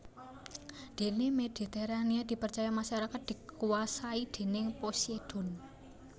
Dene Mediterania dipercaya masyarakat dikuasai déning Poseidon